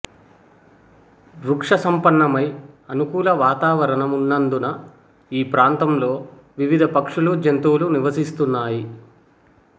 వృక్షసంపన్నమై అనుకూల వాతావరణం ఉన్నందున ఈ ప్రాంతలో వివిధ పక్షులు జంతువులు నివసిస్తున్నాయి